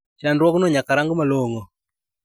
Chandruogno nyaka rang malong`o.